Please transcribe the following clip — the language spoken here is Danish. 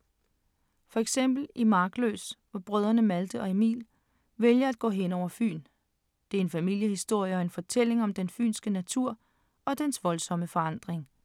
For eksempel i Markløs, hvor brødrene Malte og Emil vælger at gå hen over Fyn. Det er en familiehistorie og en fortælling om den fynske natur og dens voldsomme forandring.